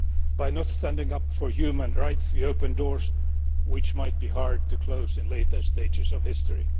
By not standing up for human rights, we open doors which might be hard to close at a later stage in history.